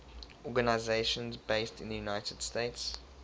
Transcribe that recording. organizations based in the united states